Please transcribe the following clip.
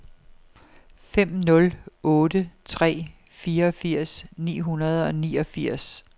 fem nul otte tre fireogfirs ni hundrede og niogfirs